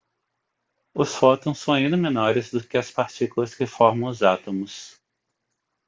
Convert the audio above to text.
os fótons são ainda menores do que as partículas que formam os átomos